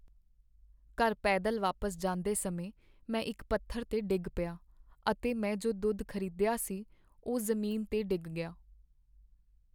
ਘਰ ਪੈਦਲ ਵਾਪਿਸ ਜਾਂਦੇ ਸਮੇਂ, ਮੈਂ ਇੱਕ ਪੱਥਰ 'ਤੇ ਡਿੱਗ ਪਿਆ, ਅਤੇ ਮੈਂ ਜੋ ਦੁੱਧ ਖ਼ਰੀਦਿਆ ਸੀ ਉਹ ਜ਼ਮੀਨ 'ਤੇ ਡਿੱਗ ਗਿਆ।